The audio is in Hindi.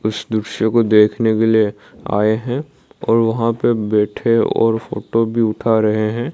उस दृश्य को देखने के लिए आए हैं और वहां पे बैठे और फोटो भी उठा रहे हैं।